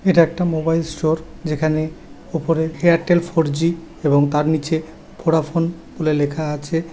এটা একটা mobile store যেখানে উপরে এয়ারটেল ফোরজি এবং তার নিচে ভোডাফোন বলে লেখা আছে ।